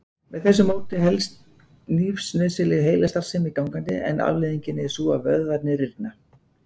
Með þessu móti helst lífsnauðsynleg heilastarfsemi gangandi en afleiðingin er sú að vöðvarnir rýrna.